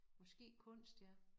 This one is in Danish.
Måske kunst ja